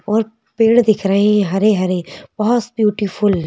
और पेड़ दिख रहे हैं हरे-हरे बहुत ब्यूटीफुल --